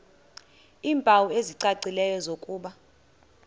iimpawu ezicacileyo zokuba